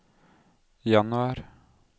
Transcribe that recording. januar